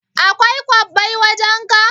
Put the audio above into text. Akwai kwabbai wajan ka?